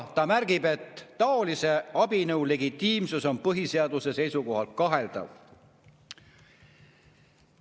Ta märgib, et taolise abinõu legitiimsus on põhiseaduse seisukohalt kaheldav.